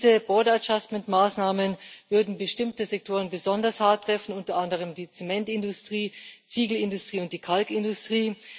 Diese Border adjustment Maßnahmen würden bestimmte Sektoren besonders hart treffen, unter anderem die Zementindustrie, die Ziegelindustrie und die Kalkindustrie.